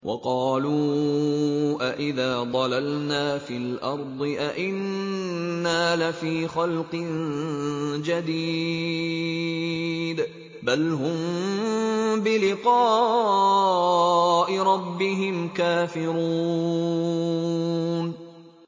وَقَالُوا أَإِذَا ضَلَلْنَا فِي الْأَرْضِ أَإِنَّا لَفِي خَلْقٍ جَدِيدٍ ۚ بَلْ هُم بِلِقَاءِ رَبِّهِمْ كَافِرُونَ